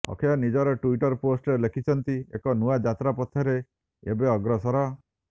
ଅକ୍ଷୟ ନିଜର ଟ୍ୱିଟର ପୋଷ୍ଟରେ ଲେଖିଛନ୍ତି ଏକ ନୂଆ ଯାତ୍ରା ପଥରେ ଏବେ ଅଗ୍ରସର